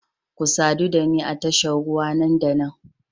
Ku sadu da ni a tashar ruwa nan da nan